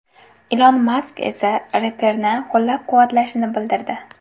Ilon Mask esa reperni qo‘llab-quvvatlashini bildirdi.